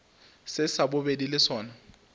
se sa bobedi le sona